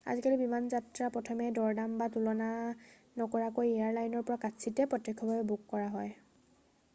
আজিকালি বিমানযাত্ৰা প্ৰথমে দৰদাম বা তুলনা নকৰাকৈ এয়াৰ লাইনৰ পৰা কাৎচিতহে প্ৰত্যক্ষভাৱে বুক কৰা হয়